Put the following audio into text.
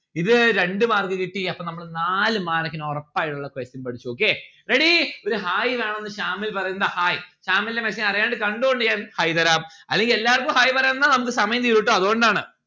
ഇത് രണ്ട്‌ mark കിട്ടി അപ്പോ നമ്മള് നാല് mark ന് ഒറപ്പായിട്ടുള്ള question പഠിച്ചു okay ready ഒരു hi വേണംന്ന് ശാമിൽ പറയുന്നു ഇതാ hi ശാമിലന്റെ message അറിയാണ്ട് കണ്ടോണ്ട് ഞാൻ hi തരാം അല്ലെങ്കിൽ എല്ലാർക്കും hi പറയാൻ നിന്നാൽ നമ്മുക്ക് സമയം തീരു ട്ടോ അതോണ്ടാണ്